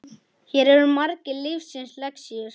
Hér eru margar lífsins lexíur.